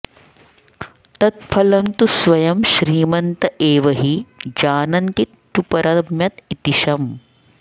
तत्फलं तु स्वयं श्रीमन्त एव हि जानन्तीत्युपरम्यत इति शम्